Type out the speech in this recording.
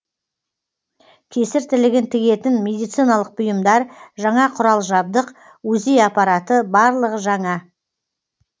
кесір тілігін тігетін медициналық бұйымдар жаңа құрал жадбық узи апараты барлығы жаңа